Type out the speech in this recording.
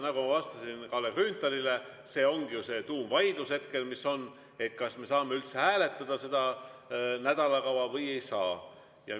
Nagu ma vastasin Kalle Grünthalile, see ongi ju see tuumvaidlus hetkel, kas me saame üldse hääletada seda nädalakava või ei saa.